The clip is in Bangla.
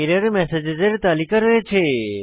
এরর্মসগ্স এর তালিকা রয়েছে